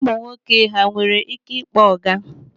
Ụmụ nwoke ha nwere ike ịkpọ ọga?